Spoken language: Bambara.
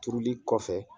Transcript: Turuli kɔfɛ